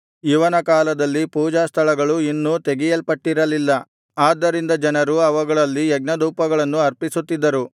ಇವನ ಕಾಲದಲ್ಲಿ ಪೂಜಾಸ್ಥಳಗಳು ಇನ್ನೂ ತೆಗೆಯಲ್ಪಟ್ಟಿರಲಿಲ್ಲ ಆದ್ದರಿಂದ ಜನರು ಅವುಗಳಲ್ಲಿ ಯಜ್ಞಧೂಪಗಳನ್ನು ಅರ್ಪಿಸುತ್ತಿದ್ದರು